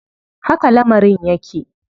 Haka lamarin yake.